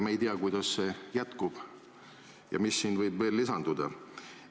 Me ei tea, kuidas see jätkub ja mis siin võib veel lisanduda.